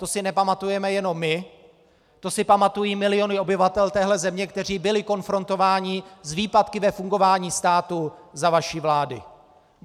To si nepamatujeme jenom my, to si pamatují miliony obyvatel téhle země, kteří byli konfrontováni s výpadky ve fungování státu za vaší vlády.